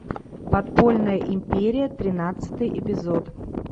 подпольная империя тринадцатый эпизод